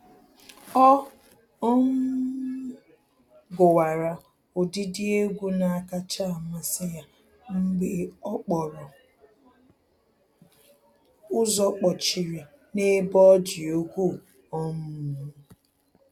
Ọ um gụwara ụdịdị egwu na-akacha amasị ya mgbe okporo ụzọ kpọchiri n'ebe ọ dị ukwuu um